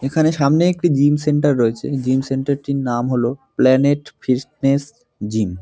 এখানে সামনে একটি জিম সেন্টার রয়েছে। জিম সেন্টার - টির নাম হল প্ল্যানেট ফিস্টনেস জিম ।